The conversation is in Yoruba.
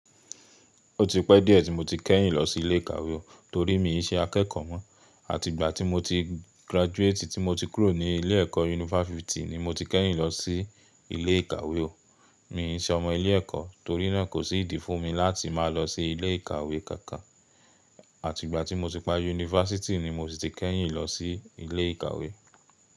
Ó ti pẹ́ díẹ̀ tí mo ti kẹ́yìn lọ sí ilé ìkàwé o, torí mi i ṣe akẹ́kọ̀ọ́ mọ́. Àti ìgbà tí mo ti graduate, tí mo ti kúrò ní ilé ẹ̀kọ́ yunifásítì ni mo ti kẹ́yìn lọ sí ilé ìkàwé o. Mi i ṣe ọmọ ilé ẹ̀kọ́, torí náà kò sí ìdí fún mi láti máa lọ sí ilé ìkàwé kankan. Àti ìgbà tí mo ti pa yunifásítì ni mo ti kẹ́yìn lọ sí ilé ìkàwé.